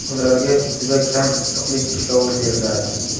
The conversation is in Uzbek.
Ularga juda kam issiqlik ishlovi beriladi.